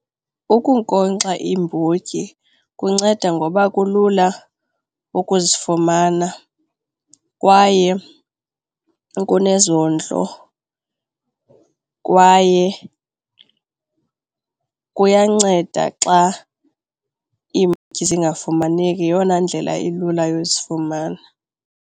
Ukunkonkxa iimbotyi kunceda ngoba kulula ukuzifumana kwaye kunezondlo, kwaye kuyanceda xa iimbotyi zingafumaneki. Yeyona ndlela ilula yozifumanela.